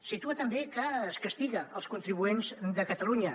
situa també que es castiga els contribuents de catalunya